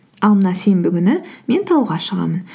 ал мына сенбі күні мен тауға шығамын